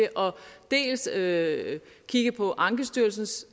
dels at kigge på ankestyrelsens